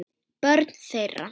Börn þeirra.